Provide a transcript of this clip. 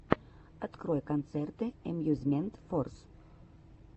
открой концерты эмьюзмент форс